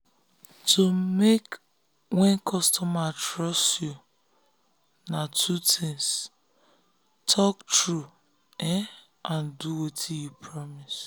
to make wey customers trust you na two things talk um true and do wetin you promise.